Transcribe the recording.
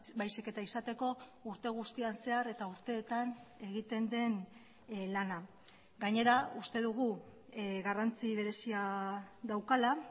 baizik eta izateko urte guztian zehar eta urteetan egiten den lana gainera uste dugu garrantzi berezia daukala